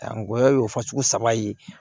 Ngɔyɔ y'o fasugu saba ye